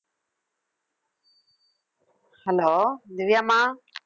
hello திவ்யாம்மா